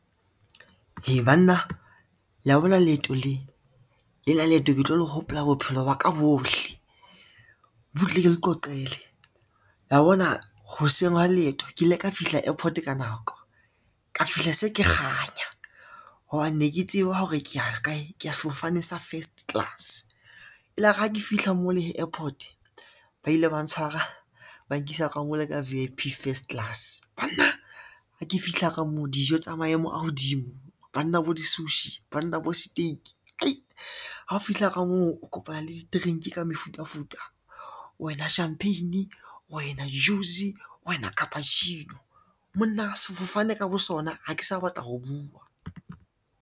Heh banna, la bona leeto le le na leeto ke tlo le hopola bophelo ba ka bohle. Butle ke le qoqele la bona hoseng hwa leeto ke ile ka fihla airport ka nako, ka fihla se ke kganya hobane ne ke tseba hore ke ya kae, ke ya sefofane sa first class. Elare ha ke fihla mo le hee airport ba ile ba ntshwara, ba nkisa ka mo la ka V_I_P first class. Banna ha ke fihla ka moo dijo tsa maemo a hodimo banna bo di-sushi, banna bo steak, hei ha o fihla ka moo o kopana le di-drink ka mefutafuta wena champagne, wena juice, wena cappuccino, monna sefofane ka bo sona ha ke sa batla ho bua.